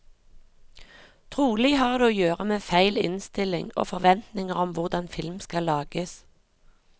Trolig har det å gjøre med feil innstilling og forventninger om hvordan film skal lages.